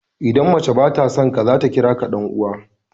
Idan mace ba ta son ka, za ta kira ka "Dan uwa."